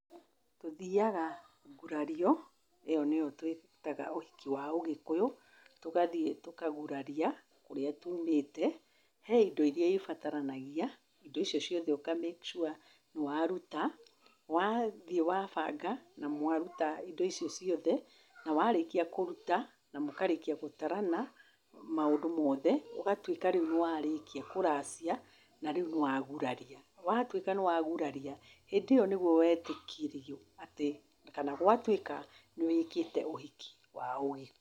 Tũthiaga ngurario, ĩyo nĩyo twĩtaga ũhiki wa Ũgĩkũyũ. Tũgathiĩ tũkaguraria kũrĩa tumĩte, he indo iria ibataranagia, indo icio ciothe ũka make sure nĩ waruta. Wathiĩ wabanga na mwaruta indo icio ciothe, na warĩkia kũruta na mũkarĩkia gũtarana maũndũ mothe, ũgatuĩka rĩu nĩwarĩkia kũracia na rĩu nĩ waguraria. Watuĩka nĩ wa guraria, hĩndĩ ĩyo nĩguo wetĩkĩrio atĩ kana gwatuĩka nĩ wĩkĩte ũhiki wa Ũgĩkũyũ.